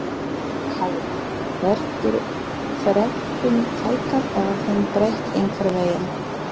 Höskuldur Kári: Verður þrepum fækkað eða þeim breytt einhvern veginn?